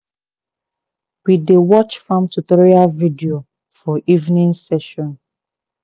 we dey watch farm tutorial video for evening session